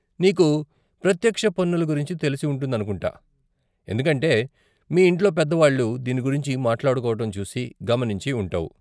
నీకు ప్రత్యక్ష పన్నులు గురించి తెలిసి ఉంటుందనుకుంటా, ఎందుకంటే మీ ఇంట్లో పెద్దవాళ్ళు దీని గురించి మాట్లాడుకోవటం చూసి, గమనించి ఉంటావు.